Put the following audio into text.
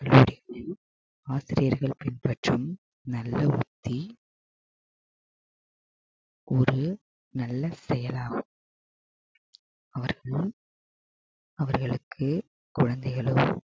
கல்லூரிகளில் ஆசிரியர்கள் பின்பற்றும் நல்ல யுக்தி ஒரு நல்ல செயலாகும் அவர்கள் அவர்களுக்கு குழந்தைகளும்